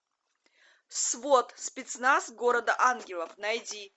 свот спецназ города ангелов найди